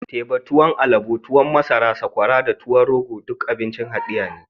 Teba, tuwon alobo, tuwon masara, sakwara da tuwon rogo duka abincin hadeya ne